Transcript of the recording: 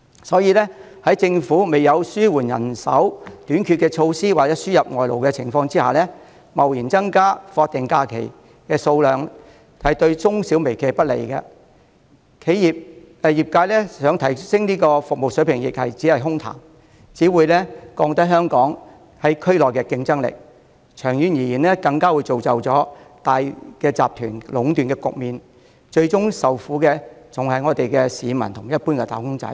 所以，在政府未有紓緩人手短缺的措施或輸入外勞的情況下，貿然增加法定假日的日數會對中小微企不利，業界想提升服務亦只會淪為空談，並降低香港在區內的競爭力，長遠而言更會造成大集團壟斷的局面，最終受苦的還是市民和一般"打工仔"。